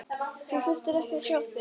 Ég þurfti ekkert að sjá þig.